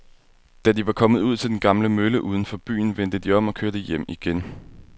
Da de var kommet ud til den gamle mølle uden for byen, vendte de om og kørte hjem igen.